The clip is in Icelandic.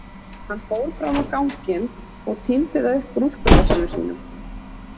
Hann fór fram á ganginn og tíndi það upp úr úlpuvasanum sínum.